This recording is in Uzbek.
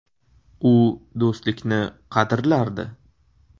U do‘stlikni qadrlardi.